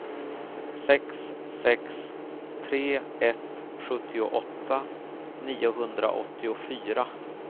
sex sex tre ett sjuttioåtta niohundraåttiofyra